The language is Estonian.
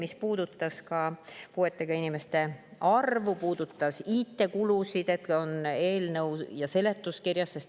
Need puudutasid puuetega inimeste arvu, IT-kulusid ja eelnõu seletuskirja.